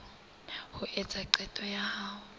a etsa qeto ya ho